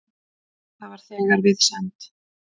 Það var þegar við send